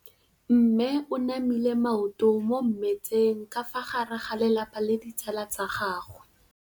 Mme o namile maoto mo mmetseng ka fa gare ga lelapa le ditsala tsa gagwe.